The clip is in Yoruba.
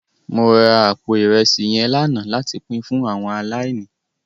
Mó rá àpó irèsí yèn làná làtí pin fún áwòn àláìní